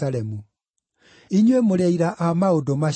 Inyuĩ mũrĩ aira a maũndũ macio.